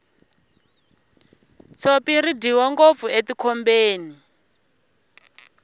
tshopi ri dyiwa ngopfu etikhombeni